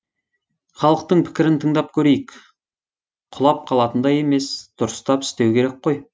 халықтың пікірін тыңдап көрейік құлап қалатындай емес дұрыстап істеу керек қой